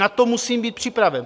Na to musím být připraven.